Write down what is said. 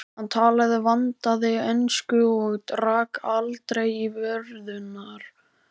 Hann talaði vandaða ensku og rak aldrei í vörðurnar.